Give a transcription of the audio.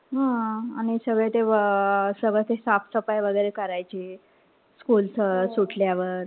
हा आणि सगळे ते अ सगळं ते साफसफाई वगैरे करायचे. school च सुटल्यावर.